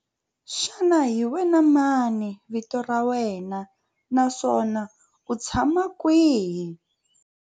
Xana hi wena mani vito ra wena naswona u tshama kwihi?